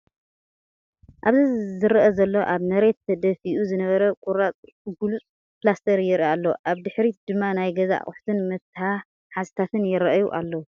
ኣብዚ ዘረአ ዘሎ ኣብ መሬት ተደፊኡ ዝነበረ ቁራጽ ግሉጽ ፕላስተር የርኢ ኣሎ። ኣብ ድሕሪት ድማ ናይ ገዛ ኣቑሑትን መትሓዚታትን ይራኣዩ ኣለዉ።